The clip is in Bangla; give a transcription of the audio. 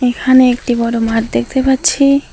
এখানে একটি বড় মাঠ দেখতে পাচ্ছি।